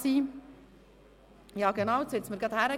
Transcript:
Ich erhalte gerade die entsprechende Information.